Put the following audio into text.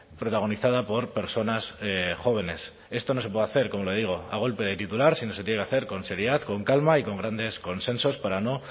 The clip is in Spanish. protagonizada por personas jóvenes esto no se puede hacer como le digo a golpe de titular sino se tiene que hacer con seriedad con calma y con grandes consensos para no